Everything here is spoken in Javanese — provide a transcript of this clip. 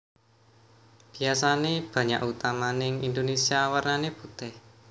Biasané banyak utamaning Indonésia warnané putih